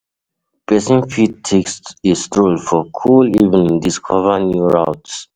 Persin fit take a stroll for cool evening discover new routes